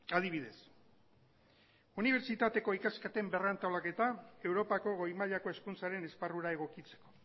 adibidez unibertsitateko ikasketen berrantolaketa europako goi mailako hezkuntzaren esparrura egokitzeko